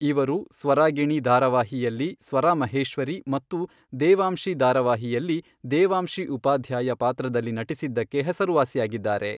ಇವರು ಸ್ವರಾಗಿಣಿ ದಾರವಾಹಿಯಲ್ಲಿ ಸ್ವರಾ ಮಹೇಶ್ವರಿ ಮತ್ತು ದೇವಾಂಶಿ ಧಾರವಾಹಿಯಲ್ಲಿ ದೇವಾಂಶಿ ಉಪಾಧ್ಯಾಯ ಪಾತ್ರದಲ್ಲಿ ನಟಿಸಿದಕ್ಕೆ ಹೆಸರುವಾಸಿಯಾಗಿದ್ದಾರೆ.